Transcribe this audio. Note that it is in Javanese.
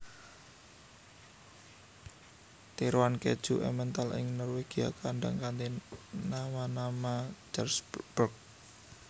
Tiruan kèju Emmental ing Norwegia kondhang kanthi namanama Jarlsberg